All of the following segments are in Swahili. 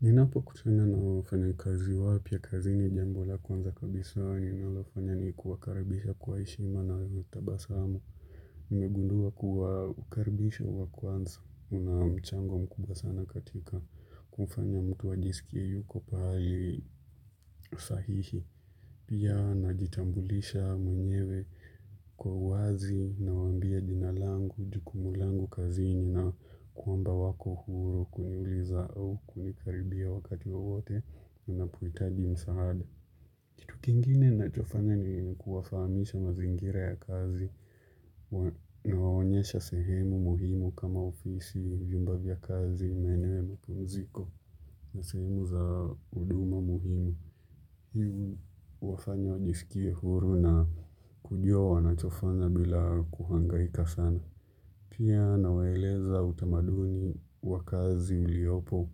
Ninapokutana na wafanyakazi wapya kazini jambo la kwanza kabisa huwa ninafanya ni kuwakaribisha kwa heshima na tabasamu. Nimegundua kuwa ukaribisho wa kwanza una mchango mkubwa sana katika kumfanya mtu ajisikie yuko pahali sahihi. Pia najitambulisha mwenyewe kwa uwazi nawaambia jina langu, jukumu langu kazini na kwamba wako huru kuniuliza au kunikaribia wakati wowote wanapohitaji msaada. Kitu kingine ninachofanya ni kuwafahamisha mazingira ya kazi nawaonyesha sehemu muhimu kama ofisi, vyumba vya kazi, maeneo ya mapumziko na sehemu za huduma muhimu. Huwafanya wajisikie huru na kujua wanachofana bila kuhangaika sana. Pia nawaeleza utamaduni wa kazi uliopo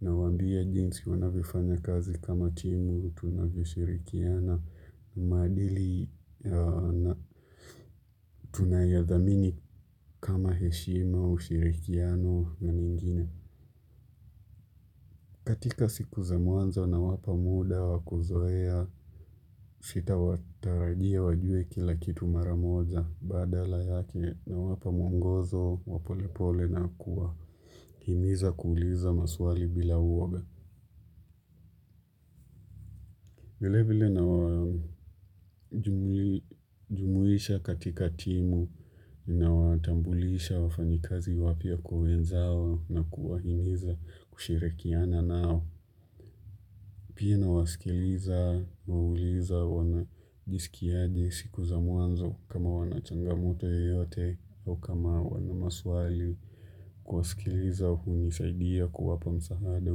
nawaambia jinsi wanavyofanya kazi kama timu tunavyoshirikiana, maadili ya tunayodhamini kama heshima ushirikiano na mengine. Katika sikuza mwanzo nawapa muda wa kuzoea sitawatarajia wajue kila kitu mara moja badala yake nawapa mwongozo wa polepole na kuwahimiza kuuliza maswali bila uoga. Vile vile nawajumuisha katika timu nawatambulisha wafanyikazi wapya kwa wenzao na kuwahimiza kushirikiana nao. Pia nawasikiliza, nauliza wanajisikiaje siku za mwanzo kama wana changamoto yoyote au kama wana maswali. Kuwasikiliza hunisaidia kuwapa msaada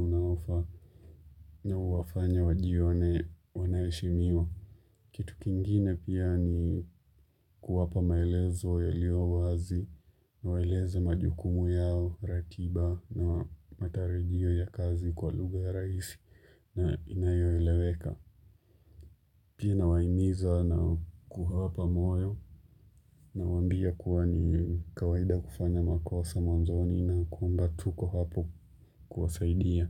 unaofaa na huwafanya wajione wanaheshimiwa. Kitu kingine pia ni kuwapa maelezo yalio wazi nawaeleza majukumu yao, ratiba na matarajio ya kazi kwa lugha ya rahisi na inayoeleweka. Pia nawahimiza na kuwapa moyo nawambia kuwa ni kawaida kufanya makosa mwanzoni na kwamba tuko hapo kuwasaidia.